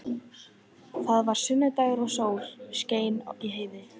Það var sunnudagur og sól skein í heiði.